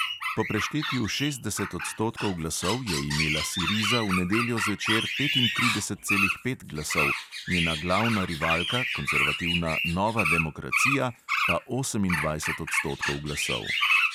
Po preštetju šestdeset odstotkov glasov je imela siriza v nedeljo zvečer petintrideset celih pet glasov, njena glavna rivalka, konservativna nova demokracija, pa osemindvajset odstotkov glasov.